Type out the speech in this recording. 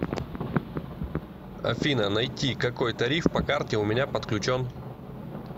афина найти какой тариф по карте у меня подключен